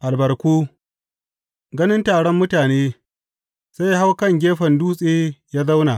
Albarku Ganin taron mutane, sai ya hau kan gefen dutse ya zauna.